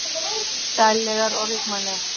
Sællegar og ríkmannlegar.